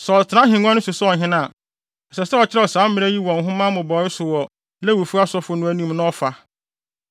Sɛ ɔtena ahengua no so sɛ ɔhene a, ɛsɛ sɛ ɔkyerɛw saa mmara yi wɔ nhoma mmobɔwee so wɔ Lewifo asɔfo anim na ɔfa.